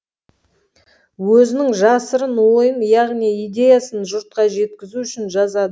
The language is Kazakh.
өзінің жасырын ойын яғни идеясын жұртқа жеткізу үшін жазады